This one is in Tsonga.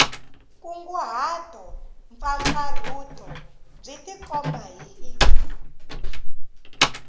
nkunguhato mpfapfarhuto byi tikomba hi